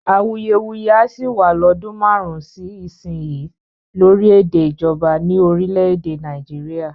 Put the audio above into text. Awuyewuye á sì wá lọ́dún márùn-ún sí ìsinyìí lórí èdè ìjọba ní orílè-èdè Nàìjíríà